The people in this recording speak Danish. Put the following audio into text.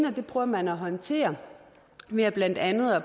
og det prøver man at håndtere ved blandt andet at